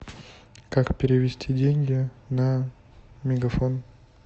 как перевести деньги на мегафон